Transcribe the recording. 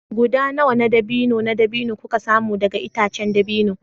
Guda nawa na dabino na dabino kuka samu daga itacen dabino